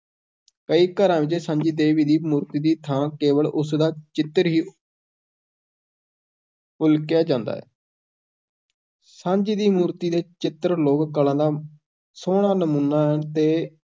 ਕਈ ਘਰਾਂ ਵਿੱਚ ਸਾਂਝੀ ਦੇਵੀ ਦੀ ਮੂਰਤੀ ਦੀ ਥਾਂ ਕੇਵਲ ਉਸ ਦਾ ਚਿੱਤਰ ਹੀ ਉਲੀਕਿਆ ਜਾਂਦਾ ਹੈ ਸਾਂਝੀ ਦੀ ਮੂਰਤੀ ਦੇ ਚਿੱਤਰ ਲੋਕ-ਕਲਾ ਦਾ ਸੋਹਣਾ ਨਮੂਨਾ ਹਨ ਤੇ